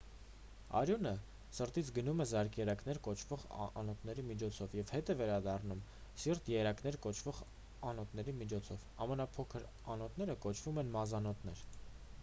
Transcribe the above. արյունը սրտից գնում է զարկերակներ կոչվող անոթների միջոցով և հետ է վերադառնում սիրտ երակներ կոչվող անոթների միջոցով ամենափոքր անոթները կոչվում են մազանոթներ